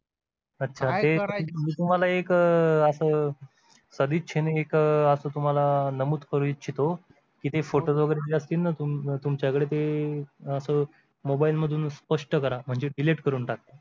अच्छा मी तुम्हाला एक असं सदिच्छेन एक असं तुम्हाला नमूद करू इच्छितो की जे फोटो वगैरे जे असतील ना तुमच्याकडे ते असं मोबाईल मधून स्पष्ट करा म्हणजे delete करून टाका